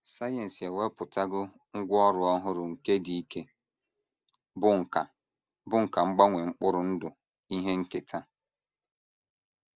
Sayensị ewepụtawo ngwá ọrụ ọhụrụ nke dị ike, bụ́ nkà bụ́ nkà mgbanwe mkpụrụ ndụ ihe nketa.